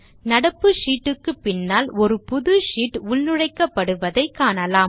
நடப்பு ஷீட் க்கு பின்னால் ஒரு புது ஷீட் உள்நுழைக்கப்படுவதை காணலாம்